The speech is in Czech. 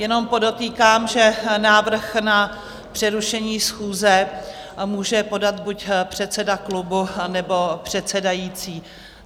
Jenom podotýkám, že návrh na přerušení schůze může podat buď předseda klubu, nebo předsedající.